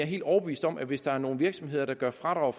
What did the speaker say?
helt overbevist om at hvis der er nogle virksomheder der fradrager